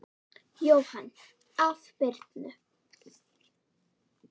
Jóhann: Af Birnu?